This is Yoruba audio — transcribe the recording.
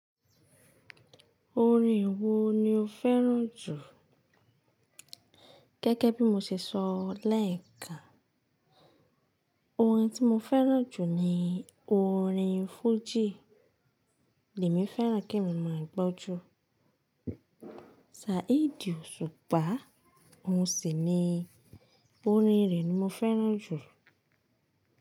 Orin wo ni o fẹ́ràn jù? Gẹ́gẹ́ bí mo ṣe sọ lẹ́ẹ̀kan, orin tí mo fẹ́ràn jù ni orin fújì. Lèmi fẹ́ràn ke mi máa gbọ́ ju Saheed Òṣùpá, oun sì ni orin rẹ̀ ni mo fẹ́ràn jù.